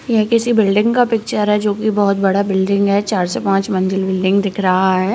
यह किसी बिल्डिंग का पिक्चर है जो बहुत बड़ा बिल्डिंग है चार से पाँच मंजिल बिल्डिंग दिख रहा है।